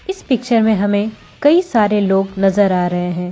इस पिक्चर में हमें कई सारे लोग नजर आ रहे हैं और --